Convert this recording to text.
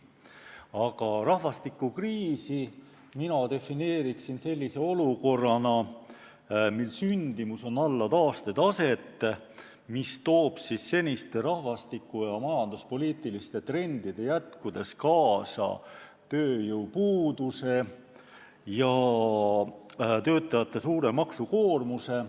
Aga rahvastikukriisi mina defineeriksin sellise olukorrana, kus sündimus on alla taastetaset, mis toob seniste rahvastiku ja majanduspoliitiliste trendide jätkudes kaasa tööjõupuuduse ja töötajate suure maksukoormuse.